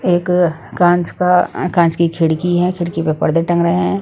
एक काँच का काँच की खिड़की हैं खिड़की पे पर्दे टंग रहे हैं।